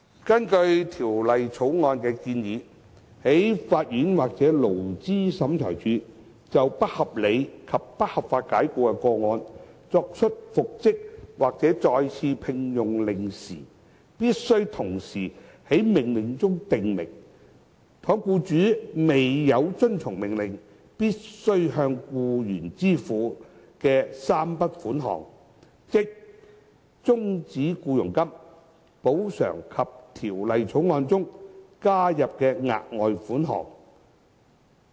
根據《條例草案》的建議，在法院或勞資審裁處就不合理及不合法解僱的個案作出復職或再次聘用的命令時，必須同時在命令中訂明，倘若僱主未有遵從命令必須向僱員支付的3筆款項，即終止僱傭金、補償及《條例草案》中加入的額外款項。